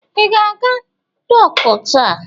I ga-aga dọkụ taa?